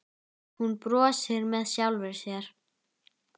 Hún brosir með sjálfri sér.